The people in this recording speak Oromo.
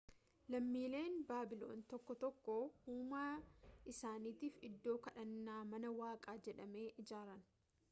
lammiileen baabiloon tokkoo tokkoo uumaa isaaniitiif iddoo kadhannaa mana waaqaa jedhame ijaaran